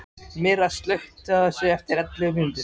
Myrra, slökktu á þessu eftir ellefu mínútur.